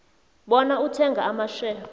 bona uthenga amashare